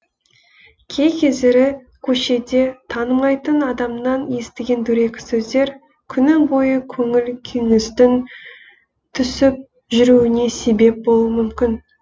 кей кездері көшеде танымайтын адамнан естіген дөрекі сөздер күні бойы көңіл күйіңіздің түсіп жүруіне себеп болуы мүмкін